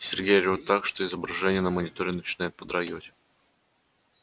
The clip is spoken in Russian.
сергей орёт так что изображение на мониторе начинает подрагивать